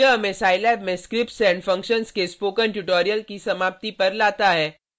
यह हमें scilab में scripts and functions के स्पोकन ट्यूटोरियल की समाप्ति पर लाता है